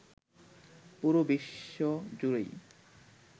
পুরো বিশ্ব জুড়েই